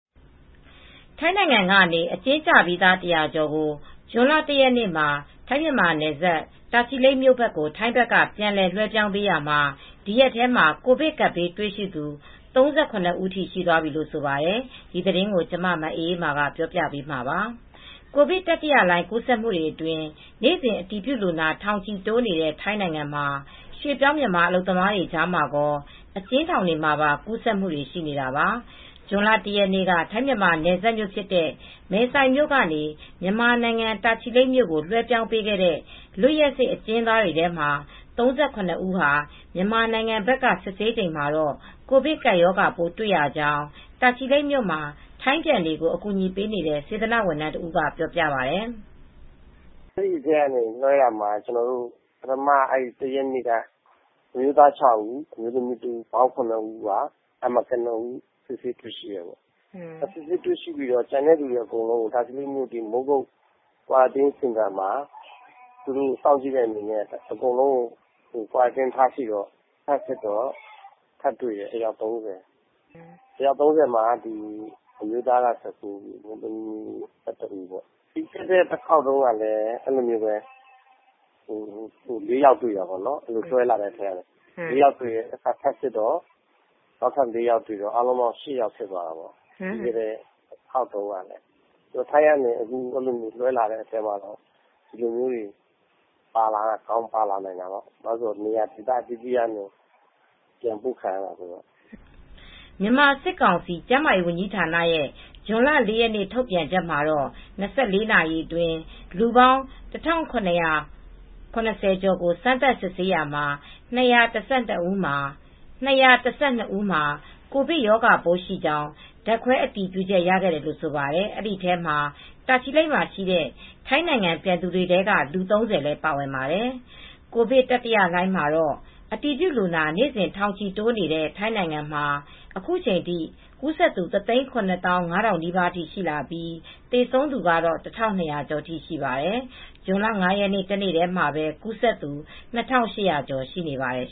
ထိုင်းနိုင်ငံကနေ အကျဉ်းကျပြီးသား ၁၀၀ ကျော်ကို ဇွန်လ ၁ ရက်နေ့မှာ ထိုင်း-မြန်မာနယ်စပ် တာချီလိတ်မြို့ကို ထိုင်းဘက်က ပြန်လွဲှပြောင်းရာမှာ ဒီရက်ထဲမှာ ကိုရိုနာဗိုင်းရပ်စ် ကူးစက်သူ ၃၇ ဦးထိ ရှိသွားပြီလို့ ဆိုပါတယ်။ အပြည့်အစုံကို မအေးအေးမာ တင်ပြပေးထားပါတယ်။ ကိုဗစ်တတိယလှိုင်း ကူးစက်မှုအတွင်း နေ့စဉ် အတည်ပြုလူနာ ထောင်ချီတိုးနေတဲ့ ထိုင်းနိုင်ငံမှာ ရွှေ့ပြောင်း မြန်မာအလုပ်သမားတွေကြားမှာရော အကျဉ်းထောင်တွေမှာပါ ကူးစက်မှုတွေ ရှိနေတာပါ။ ဇွန်လ ၁ ရက်နေ့က ထိုင်း-မြန်မာနယ်စပ်မြို့ဖြစ်တဲ့ မယ်ဆိုင်မြို့ကနေ မြန်မာနိုင်ငံ တာချီလိတ်မြို့ကို လွှဲပြောင်းပေးခဲ့တဲ့ လွတ်ရက်စေ့ အကျဉ်းသမားတွေထဲမှာ ၃၇ ဦးဟာ မြန်မာနိုင်ငံဘက်က စစ်ဆေးချိန်မှာတော့ ကိုဗစ်ကပ်ရောဂါပိုး တွေ့ရကြောင်း တာချီလိတ်မြို့မှာ ထိုင်းပြန်တွေကို အကူအညီပေးနေတဲ့ စေတနာ့ဝန်ထမ်းတဦးက ပြောပြပါတယ်။ “အဲဒီထဲက လွှဲရာမှာ ပထမ ၁ ရက်နေ့က အမျိုးသား ၆ ဦး၊ အမျိုးသမီး ၁ ဦး၊ ပေါင်း ၇ ဦး ကနဦး စိစစ်တွေ့ရှိတယ်။ စိစစ်တွေ့ရှိပြီးတော့ တာချီလိတ် မိုးကုတ်စောင့်ကြည့်စင်တာမှာ စောင့်ကြည့်တော့ အကုန်လုံးကို ထပ်စစ်တော့ အယောက် ၃၀ ထပ်တွေ့တယ်။ တွေ့တာကတော့ အမျိုးသား ၁၉ ဦး၊ အမျိုးသမီး ၁၁ ဦး တွေ့တယ်။ ပြီးခဲ့တဲ့တခေါက်က လွဲှလာတဲ့အထဲမှာ ၄ ယောက်တွေ့တယ်။ နောက်ထပ်တခါစစ်တော့ ၄ ယောက်ထပ်တွေ့တယ်၊ ၈ ယောက်ဖြစ်သွားတာပေါ့။ ထိုင်းကလွဲှတာတွေ ဒီလိုဟာမျိုးတွေ ပါကောင်းပါလာနိုင်တာပေါ့။ နေရာဒေသ အသီးသီးကနေ ပြန်ပို့ခံရတာဆိုတော့။” မြန်မာစစ်ကောင်စီ ကျန်းမာရေးဝန်ကြီးဌာနရဲ့ ဇွန်လ ၄ ရက်နေ့ ထုတ်ပြန်ချက်မှာတော့ ၂၄ နာရီအတွင်း လူပေါင်း ၁,၇၇၀ ကျော်ကို စမ်းသပ်စစ်ဆေးရာမှာ ၂၁၂ ဦးမှာ ကိုဗစ်ရောဂါပိုးရှိကြောင်း ဓာတ်ခွဲအတည်ပြုချက်ရတယ်လို့ ဆိုပါတယ်။ အဲဒီထဲမှာ တာချီလိတ်မှာရှိတဲ့ ထိုင်းနိုင်ငံပြန်တွေထဲက လူ ၃၀ လည်း ပါဝင်ပါတယ်။ ကိုဗစ်တတိယလှိုင်းမှာတော့ အတည်ပြုလူနာ နေ့စဉ် ထောင်ချီတိုးလာနေတဲ့ ထိုင်းနိုင်ငံမှာ အခုချိန်ထိ ကူးစက်သူ ၁၇၅,၀၀၀ နီးပါးထိရှိလာပြီး သေဆုံးသူကတော့ ၁,၂၀၀ ကျော်ထိရှိပါတယ်။ ဇွန်လ ၅ ရက်နေ့ တနေ့တည်းမှာပဲ ကူးစက်သူ ၂,၈၀၀ ကျော် ရှိနေပါတယ်